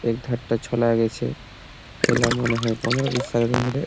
এক ধারটা ছলায়ে গেছে। ছেলে মনে হয় পনরো বিশ সালের উমরে--